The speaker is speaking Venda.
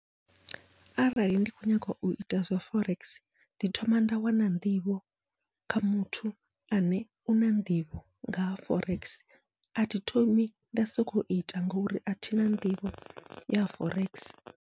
Arali ndi kho nyaga uita zwa forex, ndi thoma nda wana nḓivho kha muthu ane u na nḓivho ngaha forex athi thomi nda soko ita ngori athina nḓivho ya forex.